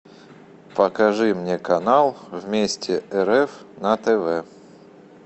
покажи мне канал вместе рф на тв